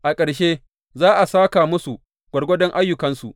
A ƙarshe, za a sāka musu gwargwadon ayyukansu.